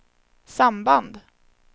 samband